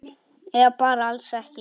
Eða bara alls ekki.